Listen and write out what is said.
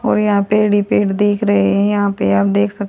और यहां पेड़ ही पेड़ दिख रहे है यहां पे आप देख स--